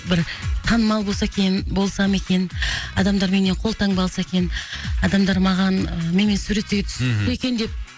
бір танымал болса екен болсам екен адамдар менен қолтаңба алса екен адамдар маған менімен суретке түссе екен деп